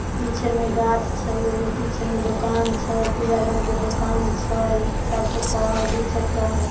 पीछे में घाच छे एगो पीछे में दुकान छे पीला रंग के दुकान छे चार चक्का हई दू चक्का हई ।